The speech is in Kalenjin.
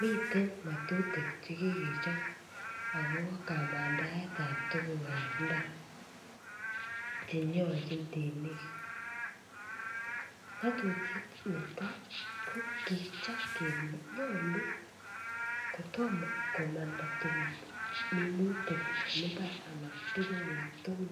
Mitei ng'atutik chekikechob akobo kamandaetab tugukab mbar chenyoljin temik. Ng'atutiet netai ko kikiap kole nyolu kotom komanda tuguk chemi mbar anan ko tuguk alak tugul